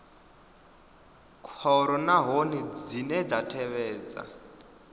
khoro nahone dzine dza tevhedza